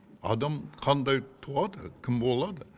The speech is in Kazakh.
адам қандай туады кім болады